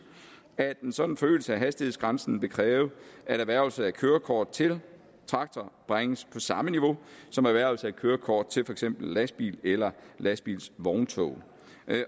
at en sådan forøgelse af hastighedsgrænsen vil kræve at erhvervelse af kørekort til traktor bringes på samme niveau som erhvervelse af kørekort til for eksempel lastbil eller lastbilvogntog